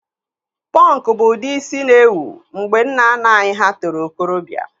Pọnkụ bụ ụdị ísí na-ewu mgbe nnanna anyị hà toro okorobịa.